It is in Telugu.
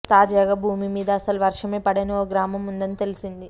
తాజాగా భూమి మీద అసలు వర్షమే పడని ఓ గ్రామం ఉందని తెలిసింది